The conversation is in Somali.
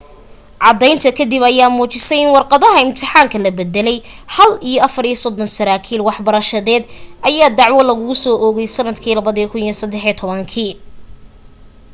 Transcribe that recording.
caddaynta ka dib ayaa muujisay in warqadaha imtixaanka la bedelay hall iyo 34 saraakiil waxbarashadeed ayaa dacwo lagusoo oogay sanadkii 2013